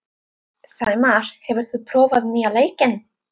Sæmar, hefur þú prófað nýja leikinn?